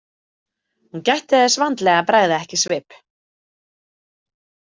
Hún gætti þess vandlega að bregða ekki svip.